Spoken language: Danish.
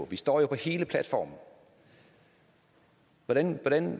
vi står jo på hele platformen hvordan